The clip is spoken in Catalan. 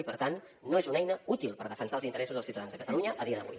i per tant no és una eina útil per defensar els interessos dels ciutadans de catalunya a dia d’avui